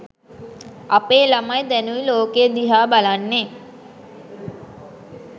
අපේ ළමයි දැනුයි ලෝකය දිහා බලන්නේ